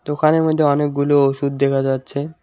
দোকানের মইধ্যে অনেকগুলো ওষুধ দেখা যাচ্ছে।